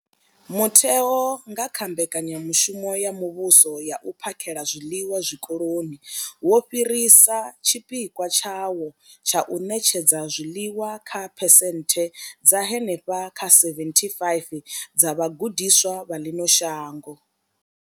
Mutheo, nga kha mbekanyamushumo ya muvhuso ya u phakhela zwiḽiwa zwikoloni, wo fhirisa tshipikwa tshawo tsha u ṋetshedza zwiḽiwa kha phesenthe dza henefha kha 75 dza vhagudiswa vha ḽino shango.